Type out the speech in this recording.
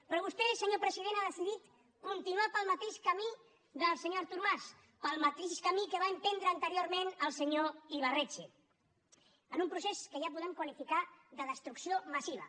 però vostè senyor president ha decidit continuar pel mateix camí del senyor artur mas pel mateix camí que va emprendre anteriorment el senyor ibarretxe en un procés que ja podem qualificar de destrucció massiva